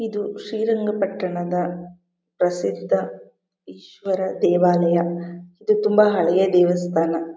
ಇದು ಶ್ರೀರಂಗಪಟ್ಟಣದ ಪ್ರಸಿದ್ಧ ಈಶ್ವರ ದೇವಾಲಯ ಇದು ತುಂಬಾ ಹಳೆಯ ದೇವಸ್ಥಾನ.